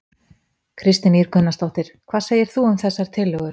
Kristín Ýr Gunnarsdóttir: Hvað segir þú um þessar tillögur?